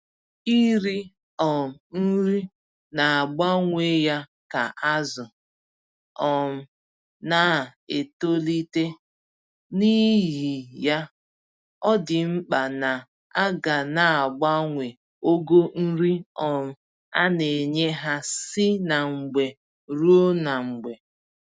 Iri um nri na-abawanye ka azụ um na-etolite, n'ihi ya, ọdị mkpa na aga naagbanwe ogo nri um a-nenye ha si na mgbe ruo na mgbe